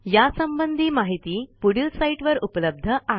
या संबंधी माहिती पुढील साईटवर उपलब्ध आहे